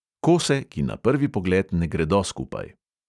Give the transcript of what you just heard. Kose, ki na prvi pogled ne gredo skupaj.